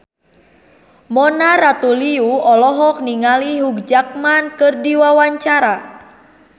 Mona Ratuliu olohok ningali Hugh Jackman keur diwawancara